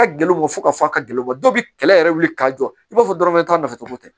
A ka gɛlɛn u ma fo ka fɔ ka gɛlɛnw bɔ dɔw bi kɛlɛ yɛrɛ wuli k'a jɔ i b'a fɔ dɔrɔn a nafatɔ tɛ